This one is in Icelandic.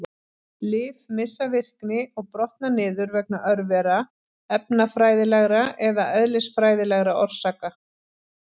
Lyf missa virkni og brotna niður vegna örvera, efnafræðilegra eða eðlisfræðilegra orsaka.